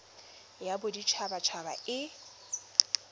ya bodit habat haba e